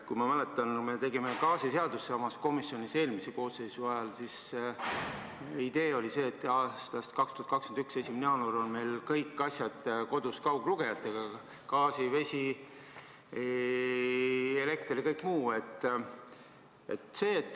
Ma mäletan, et kui me tegime gaasiseadust samas komisjonis eelmise koosseisu ajal, siis oli idee see, et 2021. aasta 1. jaanuarist on meil kõik asjad kodus kauglugejatega: gaas, vesi, elekter ja kõik muu.